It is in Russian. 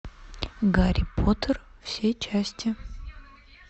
гарри поттер все части